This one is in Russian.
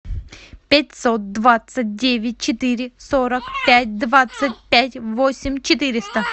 пятьсот двадцать девять четыре сорок пять двадцать пять восемь четыреста